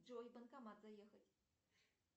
джой в банкомат заехать